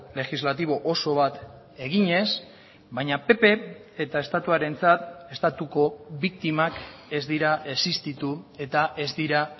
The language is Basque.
legislatibo oso bat eginez baina pp eta estatuarentzat estatuko biktimak ez dira existitu eta ez dira